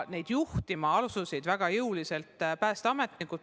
Väga jõuliselt asusid kogu tööd juhtima päästeametnikud.